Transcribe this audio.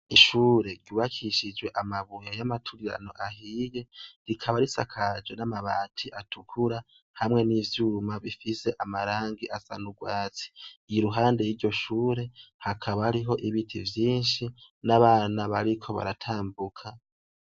Ishure ryubakishijwe amabuye y'amaturirano ahiye, rikaba risakajwe n'amabati atukura hamwe n'ivyuma bifise amarangi asa n’ugwatsi , iruhande y'iryo shure hakaba hariho ibiti vyinshi n'abana bariko baratambuka.